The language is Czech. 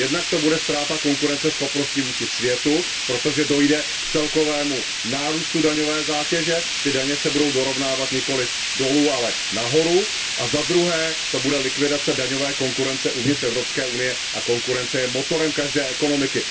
Za prvé to bude ztráta konkurenceschopnosti vůči světu, protože dojde k celkovému nárůstu daňové zátěže, daně se budou dorovnávat nikoliv dolů, ale nahoru a za druhé to bude likvidace daňové konkurence uvnitř Evropské unie a konkurence je motorem každé ekonomiky.